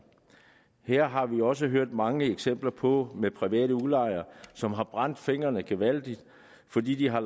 her har vi også hørt mange eksempler på private udlejere som har brændt fingrene gevaldigt fordi de har